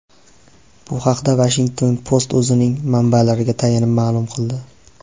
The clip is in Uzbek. Bu haqda Washington Post o‘zining manbalariga tayanib ma’lum qildi .